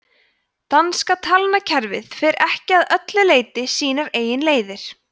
danska talnakerfið fer ekki að öllu leyti sínar eigin leiðir